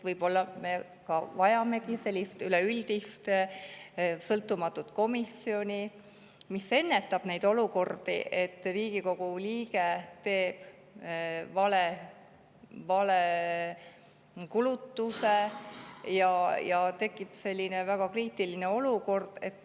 Võib-olla me vajamegi sellist üleüldist sõltumatut komisjoni, mis ennetab neid olukordi, et Riigikogu liige teeb vale kulutuse ja tekib selline väga kriitiline olukord.